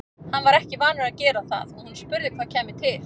Hann var ekki vanur að gera það og hún spurði hvað kæmi til.